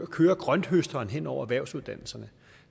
køre grønthøsteren hen over erhvervsuddannelserne